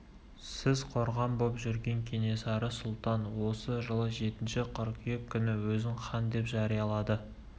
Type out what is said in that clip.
сіз қорған боп жүрген кенесары сұлтан осы жылы жетінші қыркүйек күні өзін хан деп жариялады